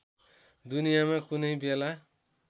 दुनियामा कुनै बेला